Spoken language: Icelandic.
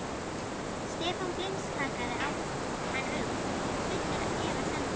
Stefán blimskakkaði á hann augum, fullur efasemda.